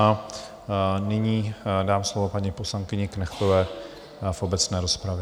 A nyní dám slovo paní poslankyni Knechtové v obecné rozpravě.